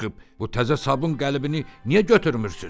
Bu təzə sabun qəlibini niyə götürmürsünüz?